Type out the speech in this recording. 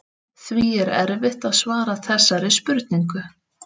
Því er erfitt að svara þessari spurningu.